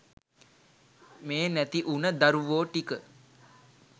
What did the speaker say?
මේ නැති උන දරුවෝ ටික